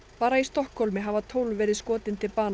bara í Stokkhólmi hafa tólf verið skotin til bana